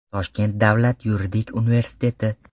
Toshkent davlat yuridik universiteti.